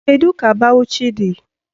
Kedu ka Bawuchi dị?